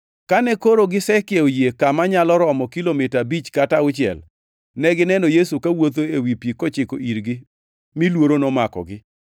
Kane koro gisekiewo yie kama nyalo romo kilomita abich kata auchiel; negineno Yesu kawuotho ewi pi kochiko irgi; mi luoro nomakogi.